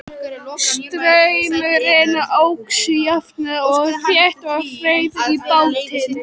Straumurinn óx jafnt og þétt og þreif í bátinn.